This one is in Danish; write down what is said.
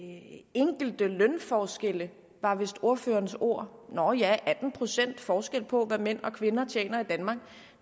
enkelte lønforskelle var vist ordførerens ord nåh ja atten procent forskel på hvad mænd og kvinder tjener